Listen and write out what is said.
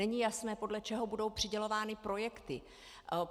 Není jasné, podle čeho budou přidělovány projekty.